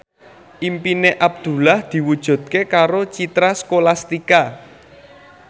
impine Abdullah diwujudke karo Citra Scholastika